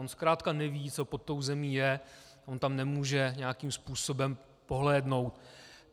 On zkrátka neví, co pod tou zemí je, on tam nemůže nějakým způsobem pohlédnout.